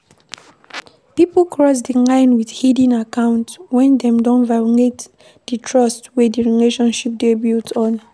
Pipo cross di line with hidden account when dem don violate di trust wey di relationship dey built on